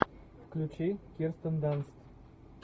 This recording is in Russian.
включи кирстен данст